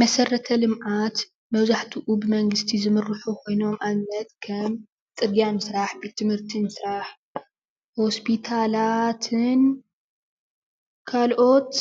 መሰረተ ልምዓት መብዛሕቲኡ ብመንግስቲ ዝምርሑ ኮይኖም ኣብነት ከም ፅርግያ ምስራሕ፣ ቤት ትምህርቲ ምስራሕ፣ ሆስፒታላትን ካልኦት